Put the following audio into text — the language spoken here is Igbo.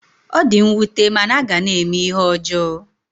Ọ di nwute mana a ga na-eme ihe ọjọọ